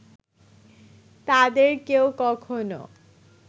তাদের কেউ কখনো